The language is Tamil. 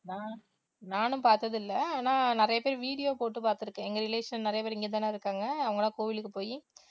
நான் நானும் பார்த்தது இல்லை ஆனா நிறைய பேர் video போட்டு பார்த்திருக்கேன் எங்க relation நிறைய பேர் இங்க தானே இருக்காங்க அவங்க எல்லாம் கோயிலுக்கு போயி